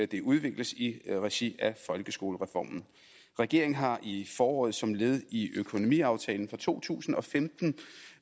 det udvikles i regi af folkeskolereformen regeringen har i foråret som led i økonomiaftalen for to tusind og femten